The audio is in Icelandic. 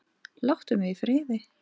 Láttu mig í friði!